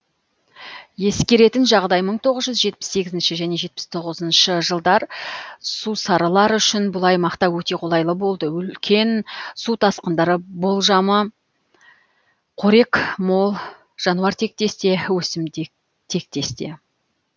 ескертетін жағдай мың тоғыз жүз жетпіс сегізінші және мың тоғыз жүз жетпіс тоғызыншы жылдар сусарлар үшін бұл аймақта өте қолайлы болды үлкен су тасқындары болмажы қорек мол жануартектес те өсімдіктектесте